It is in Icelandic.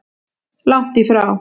Langt í frá.